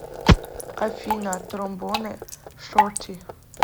афина тромбон шорти